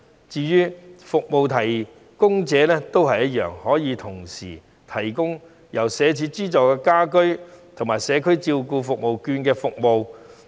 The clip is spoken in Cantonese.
至於服務提供者，他們可以同時提供由社署資助的家居服務及社區券的服務。